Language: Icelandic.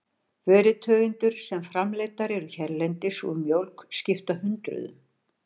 Vörutegundir sem framleiddar eru hérlendis úr mjólk skipta hundruðum.